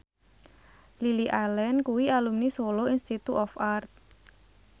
Lily Allen kuwi alumni Solo Institute of Art